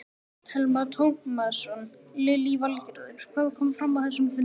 Telma Tómasson: Lillý Valgerður, hvað kom fram á þessum fundi?